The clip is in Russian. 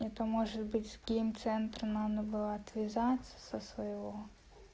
это может быть с ким центр надо было отвязаться со своего